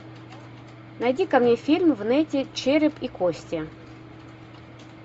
найди ка мне фильм в нете череп и кости